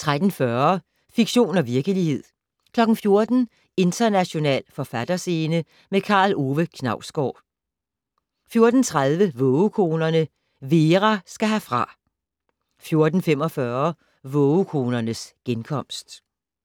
13:40: Fiktion og virkelighed 14:00: International forfatterscene - med Karl Ove Knausgård 14:30: Vågekonerne - Vera skal herfra 14:45: Vågekonernes genkomst